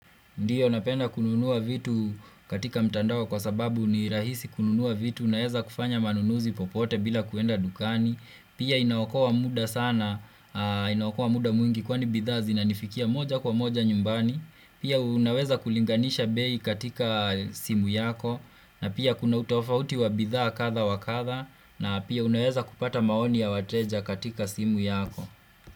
Ndiyo napenda kununua vitu katika mtandaoa kwa sababu ni rahisi kununua vitu naeza kufanya manunuzi popote bila kuenda dukani. Pia inaokowa muda sana, inaokowa muda mwingi kwani bidhaa zinanifikia moja kwa moja nyumbani. Pia unaweza kulinganisha bei katika simu yako na pia kuna utofauti wa bidhaa kadha wakadha na pia unaweza kupata maoni ya wateja katika simu yako.